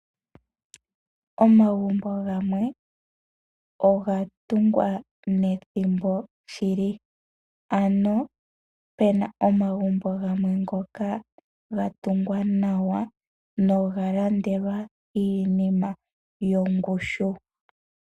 Omagumbo gamwe oga tungwa nethimbo shili. Opuna omagumbo gamwe ngoka ga tungwa nawa noga landelwa iinima yongushu.